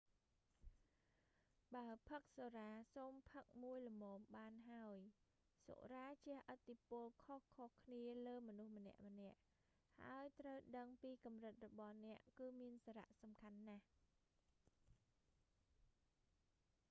បើផឹកសុរា សូមផឹកមួយល្មមបានហើយ។សុរាជះឥទ្ធិពលខុសៗគ្នាលើមនុស្សម្នាក់ៗ ហើយ ត្រូវដឹងពីកំរិតរបស់អ្នកគឺមានសារៈសំខាន់ណាស់